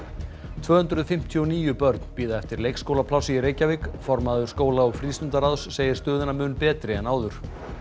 tvö hundruð fimmtíu og níu börn bíða eftir leikskólaplássi í Reykjavík formaður skóla og segir stöðuna mun betri en áður